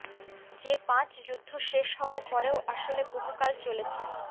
যে পাঁচ যুদ্ধ শেষ হওয়ার পরেও আসলে বহুকাল চলেছে